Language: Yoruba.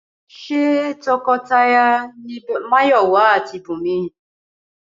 Ṣé tọkọtaya ni Máyọ̀wá àti Bùnmi?